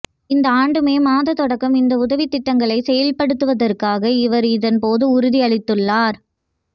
இந்த ஆண்டு மே மாதம் தொடக்கம் இந்த உதவித் திட்டங்களை செயற்படுத்துவதாக அவர் இதன்போது உறுதி அளித்துள்ளார்